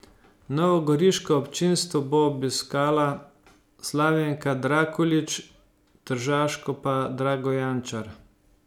Novogoriško občinstvo bo obiskala Slavenka Drakulić, tržaško pa Drago Jančar.